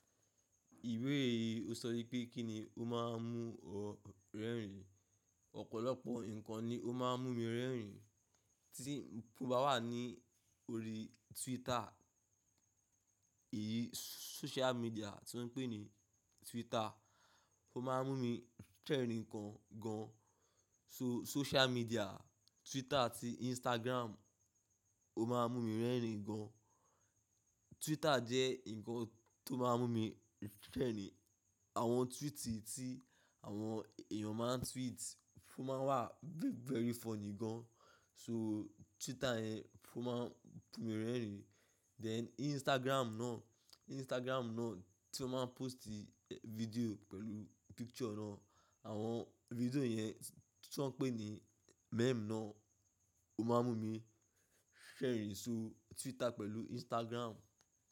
Ìbeee yìí ó sọ wípé kín ni ó máa ń mú ọ rẹ́rìn. Ọ̀pọ̀lọpọ̀ nǹkan ni ó máa ń mú mi rẹ́rìn. Tí mo bá wà ní orí Twitter, èyí social media tí wọ́n ń pè ní Twitter, ó máa ń mú mi rẹ̀rìn gan gan. So social media, Twitter àti Instagram ó máa ń mú mi rẹ́rìn gan. Twitter jẹ́ ǹkan tó máa ń mú mi ṣẹ̀rìn. Àwọn tweet tí àwọn èèyàn máa ń tweet fún máa wà very funny gan. So Twitter yẹn fún máa ń mú mi rẹ́rìn. Then Instagram náà, Instagram náà tí wọ́n máa ń post ì video pẹ̀lú picture náà, àwọn video yẹn tí wọ́n ń pè ní meme náà ó máa ń mú mi ṣẹ̀rìn. So Twitter pẹ̀lú Instagram.